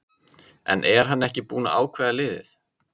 En er hann ekki búinn að ákveða liðið?